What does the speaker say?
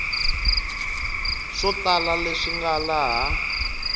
swo tala leswi nga laha